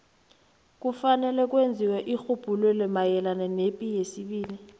kufanele kwenziwe irhubhululo mayelana nepi yesibili